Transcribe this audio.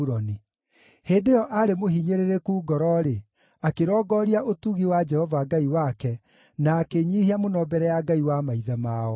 Hĩndĩ ĩyo aarĩ mũhinyĩrĩrĩku ngoro-rĩ, akĩrongooria ũtugi wa Jehova Ngai wake, na akĩĩnyiihia mũno mbere ya Ngai wa maithe mao.